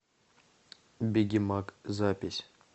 бегемаг запись